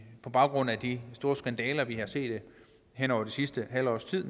på baggrund af de store skandaler vi har set hen over det sidste halve års tid